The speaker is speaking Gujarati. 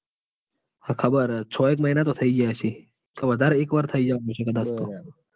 હા ખબર છે. છો એક મહિના તો થઇ ગયા હશે વધારે